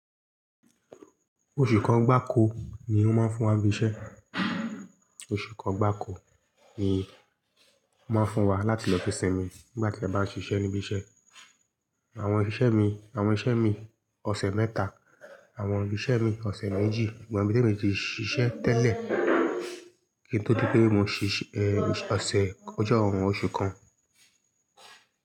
Oṣù kan gbáko ni wọ́n máa ń fún wa bí i iṣẹ́. Oṣù kan gbáko ni wọ́n máa ń fún wa láti lọ fi sinmi nígbà tí a bá ń ṣiṣẹ́ níbí iṣẹ́. Àwọn oṣiṣẹ́ mi, àwọn iṣẹ́ mi ọ̀sẹ̀ mẹ́ta, àwọn iṣẹ́ mi ọ̀sẹ̀ méjì, gba èmí tó mi ti ṣiṣẹ́ tẹ́lẹ̀ kí n tó di pé mo ṣiṣẹ́, ẹ, ọ̀sẹ̀ ọjọ́ ọ̀rún oṣù kan.